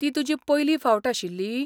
ती तुजी पयली फावट आशिल्ली?